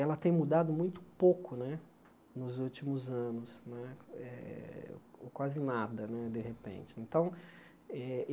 Ela tem mudado muito pouco né nos últimos anos né eh, ou quase nada né, de repente. Então eh